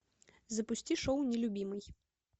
запусти шоу нелюбимый